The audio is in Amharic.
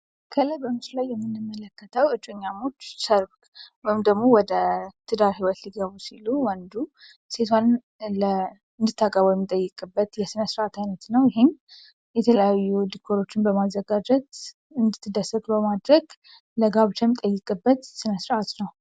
ከላይ በምስሉ ላይ የምንመለከተው እጮኛሞች ሰርግ ወይንም ደግሞ ወደ ትዳር ሊገቡ ሲሉ ሴቷን እንድታገባው የሚጠይቅበት የስነስርዓት አይነት ነው። ይህም የተለያዩ ዲኮሮችን በማዘጋጀት እንድትደሰት በማድረግ ለጋብቻ የሚጠይቅበት ስነስርዓት ነው።